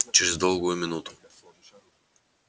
через долгую минуту